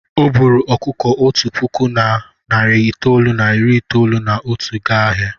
O buuru ọkụkọ otu puku na narị itoolu na iri itoolu na otu gaa ahịa.